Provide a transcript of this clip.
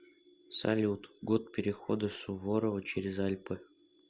салют год перехода суворова через альпы